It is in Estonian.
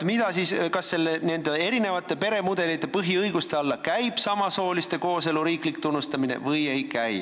Kas nende erinevate peremudelitega seotud põhiõiguste alla käib samasooliste kooselu riiklik tunnustamine või ei käi?